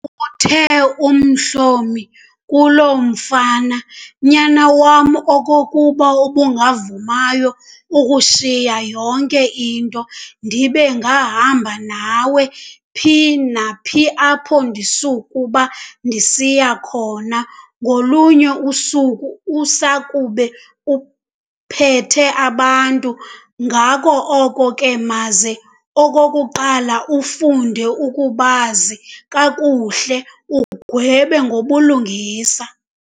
Uthe uMhlomi kulo mfana, "Nyana wam, okokuba ubungavumayo ukushiya yonke into, ndibe ndingahamba nawe, phi naphi apho ndisukuba ndisiya khona, ngolunye usuku usakube uphathe abantu, ngako oko ke maze, okokuqala ufunde ukubazi kakuhle, ugwebe ngobulungisa."